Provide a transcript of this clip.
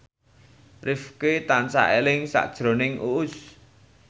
Rifqi tansah eling sakjroning Uus